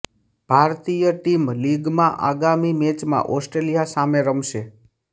ભારતીય ટીમ લીગમાં આગામી મેચમાં ઓસ્ટ્રેલિયા સામે રમશે